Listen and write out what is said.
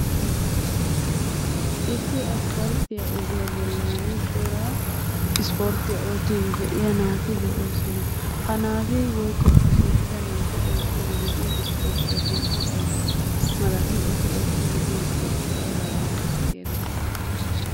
Issi asppalttiyaa ogiyaa bollani cora ispporttiyaa oottiiddi de"iya naati de'oosona. Ha naati woyikko ha shiiqida naati oottiidi de"iyo ispporttiyaa sunttay ayba malati? Eti oottiiddi diyo ispporttee aybaa geetettidi erettii?